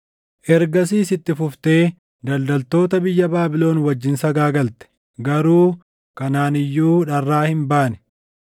Ergasiis itti fuftee daldaltoota biyya Baabilon wajjin sagaagalte; garuu kanaan iyyuu dharraa hin baane.